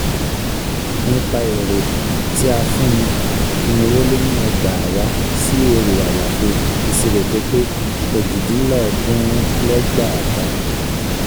nípa èrè (tí a fún ni) irínwóléníẹgbàáwàá sí èrè àlàfo (ìṣirò tó pé) òjìdínlọ́ọ̀dúnrúnléẹgbàáta.